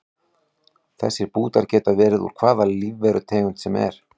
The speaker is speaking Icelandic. Þessir bútar geta verið úr hvaða lífverutegund sem er.